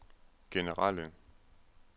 generelle